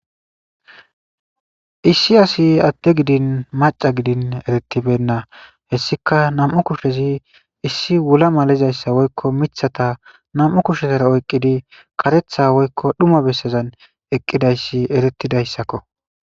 issi asi adte gidin maca gidin eretibenna hessika nam7u kushezi issi wula malizayssa woykko mithata nam7u kushezara oyqqidi qaretha woykko dhuma bessezan eqqidayssi eretidayssakko